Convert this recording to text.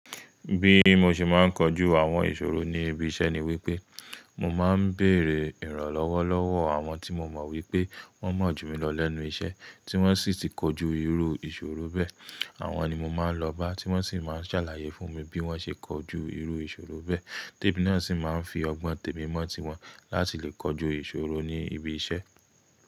Bí mo ṣe máa ń kojú àwọn ìṣòro ní ibi iṣẹ́ ni wípé, mo máa ń bèrè ìrànlọ́wọ́ lọ́wọ́ àwọn tí mo mọ̀ wípé wón mọ̀ jù mí lọ lẹ́nu iṣẹ́, tí wọ́n sì ti kojú irú ìṣòro bẹ́ẹ̀. Àwọn ni mo máa ń lọ bá, tí wọ́n sì máa ń ṣàlàyé fún mi bí wọ́n ṣe kojú irú ìṣòro bẹ́ẹ̀. Ti emi náà sì máa ń fi ọgbọ́n témi mọ́ tiwọn láti lè kojú ìṣòro ní ibi iṣẹ́.